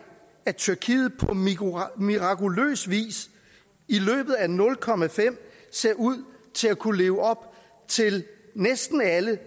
at tyrkiet på mirakuløs vis i løbet af nul komma fem ser ud til at kunne leve op til næsten alle